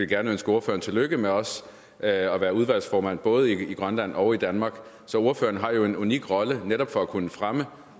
gerne ønske ordføreren tillykke med at være udvalgsformand både i grønland og i danmark så ordføreren har jo en unik rolle netop for at kunne fremme